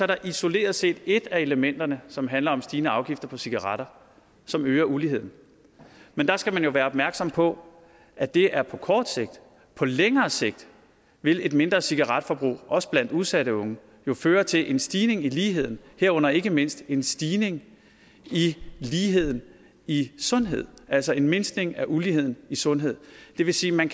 der isoleret set er et af elementerne som handler om stigende afgifter på cigaretter som øger uligheden men der skal man jo være opmærksom på at det er på kort sigt på længere sigt vil et mindre cigaretforbrug også blandt udsatte unge jo føre til en stigning i ligheden herunder ikke mindst en stigning i ligheden i sundhed altså en mindskning af uligheden i sundhed det vil sige at man